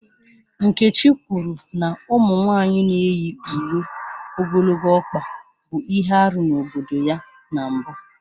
Nkechi kwuru na ụmụ nwanyị na-eyi uwe ogologo ọkpa bụ ihe arụ n'obodo ya na mbụ